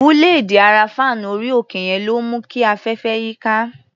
Búléèdì ara fáànù orí-òkè yẹn ló ń mú kí afẹ́fẹ́ yíká.